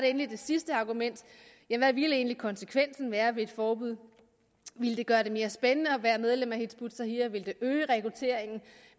endelig det sidste argument hvad ville egentlig være konsekvensen af et forbud ville det gøre det mere spændende at være medlem af hizb ut tahrir ville det øge rekrutteringen